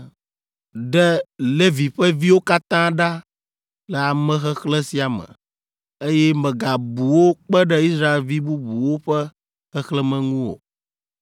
“Ɖe Levi ƒe viwo katã ɖa le amexexlẽ sia me, eye mègabu wo kpe ɖe Israelvi bubuwo ƒe xexlẽme ŋu o,